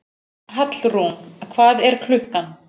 Hallrún, hvað er klukkan?